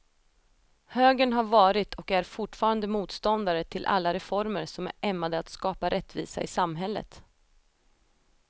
Högern har varit och är fortfarande motståndare till alla reformer som är ämnade att skapa rättvisa i samhället.